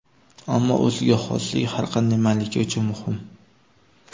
Ammo o‘ziga xoslik har qanday malika uchun muhim.